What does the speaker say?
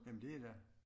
Jamen det der